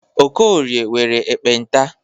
Okorie nwere ekpenta.